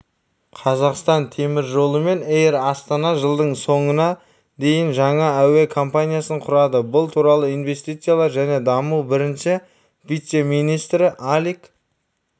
қазақстан темір жолы пен эйр астана жылдың соңына дейін жаңа әуе компаниясын құрады бұл туралы инвестициялар және даму бірінші вице-министрі алик